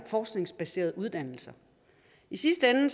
forskningsbaserede uddannelser i sidste ende